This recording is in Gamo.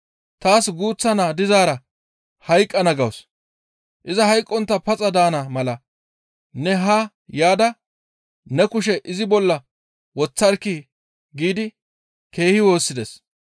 «Taas guuththa naa dizaara hayqqana gawus. Iza hayqqontta paxa daana mala ne haa yaada ne kushe izi bolla woththarkii?» giidi keehi woossides.